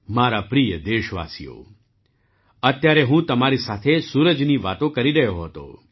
મારા પ્રિય દેશવાસીઓ અત્યારે હું તમારી સાથે સૂરજની વાતો કરી રહ્યો હતો